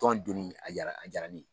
Tɔn donni a diyara ne ye